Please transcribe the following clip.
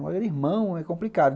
Mas ele é irmão, é complicado.